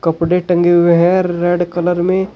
कपड़े टंगे हुए हैं रेड कलर में।